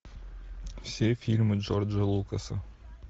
все фильмы джорджа лукаса